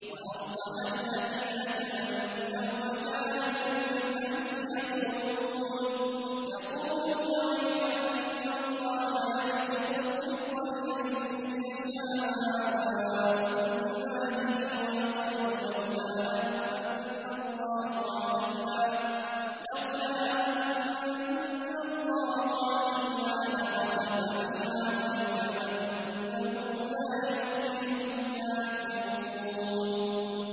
وَأَصْبَحَ الَّذِينَ تَمَنَّوْا مَكَانَهُ بِالْأَمْسِ يَقُولُونَ وَيْكَأَنَّ اللَّهَ يَبْسُطُ الرِّزْقَ لِمَن يَشَاءُ مِنْ عِبَادِهِ وَيَقْدِرُ ۖ لَوْلَا أَن مَّنَّ اللَّهُ عَلَيْنَا لَخَسَفَ بِنَا ۖ وَيْكَأَنَّهُ لَا يُفْلِحُ الْكَافِرُونَ